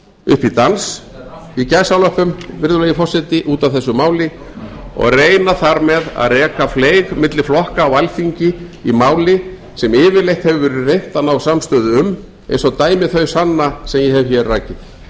framsóknarflokknum upp í dans í gæsalöppum virðulegi forseti út af þessu máli og reyna þar með að reka fleyg milli flokka á alþingi í máli sem yfirleitt hefur verið reynt að ná samstöðu um eins og dæmi þau sanna sem ég hef rakið